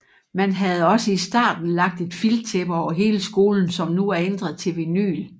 Man havde også i starten lagt et filttæppe over hele skolen som nu er ændret til vinyl